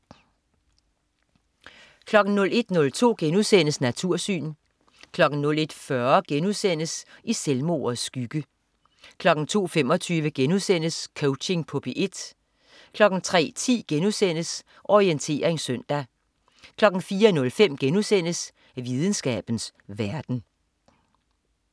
01.02 Natursyn* 01.40 I selvmordets skygge* 02.25 Coaching på P1* 03.10 Orientering søndag* 04.05 Videnskabens verden*